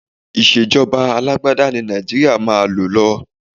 Ìṣèjọba alágbádá ni Nàìjíríà máa lò lọ.